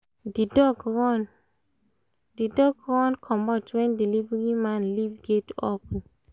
the dog run dog run comot when delivery man leave gate open